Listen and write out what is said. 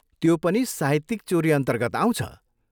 त्यो पनि साहित्यिक चोरी अन्तर्गत आउँछ।